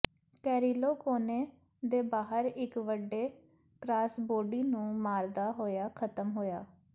Carrillo ਕੋਨੇ ਦੇ ਬਾਹਰ ਇੱਕ ਵੱਡੇ ਕ੍ਰਾਸਬੌਡੀ ਨੂੰ ਮਾਰਦਾ ਹੋਇਆ ਖਤਮ ਹੋਇਆ